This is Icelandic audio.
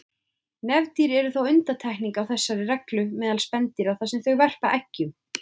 Nefdýr eru þó undantekningin á þessari reglu meðal spendýra þar sem þau verpa eggjum.